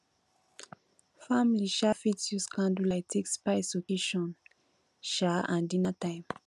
family um fit use candle light take spice occassion um and dinner time